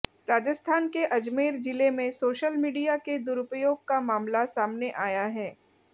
राजस्थान के अजमेर जिले में सोशल मीडिया के दुरुपयोग का मामला सामने आया है